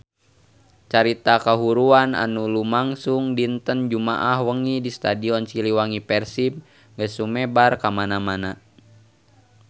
Carita kahuruan anu lumangsung dinten Jumaah wengi di Stadion Siliwangi Persib geus sumebar kamana-mana